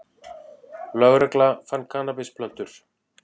Lögregla fann kannabisplöntur